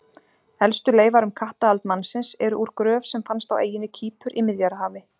Elstu leifar um kattahald mannsins, eru úr gröf sem fannst á eyjunni Kýpur í Miðjarðarhafi.